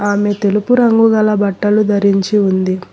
ఆమె తెలుపు రంగు గల బట్టలు ధరించి ఉంది.